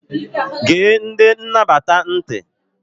Gee ndị nnabata ntị!